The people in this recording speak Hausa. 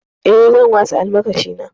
Eh, zan wasa almakashina.